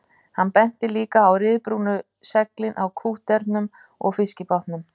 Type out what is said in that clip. Hann benti líka á ryðbrúnu seglin á kútterunum og fiskibátunum